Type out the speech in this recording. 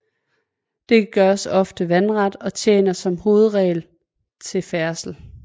Dette gøres ofte vandret og tjener som hovedregel til færdsel